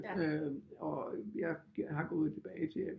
Øh og jeg har gået tilbage til